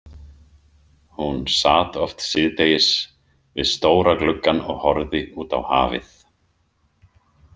Hún sat oft síðdegis við stóra gluggann og horfði út á hafið.